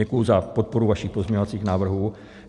Děkuji za podporu vašich pozměňovacích návrhů.